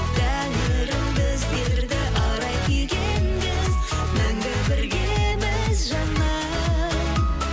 тәңірім біздерді арай күйге енгіз мәңгі біргеміз жаным